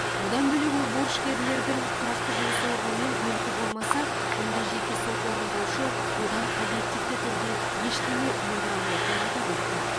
бұдан бөлек ол борышкерлердің тұрақты жұмыс орны мен мүлкі болмаса онда жеке сот орындаушы одан объективті түрде ештеңе өндіре алмайтынын атап өтті